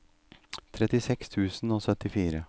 trettiseks tusen og syttifire